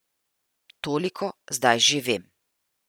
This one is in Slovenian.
Toliko zdaj že vem.